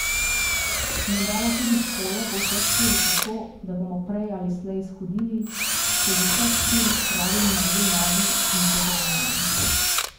Menda bo tudi s hojo po vseh štirih tako, da bomo prej ali slej shodili, se z vseh štirih spravili na dve nogi in se zravnali.